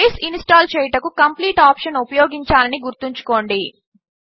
base install చేయుటకు complete option ఉపయోగించాలని గుర్తుంచుకోండి